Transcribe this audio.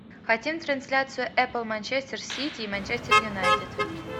хотим трансляцию апл манчестер сити и манчестер юнайтед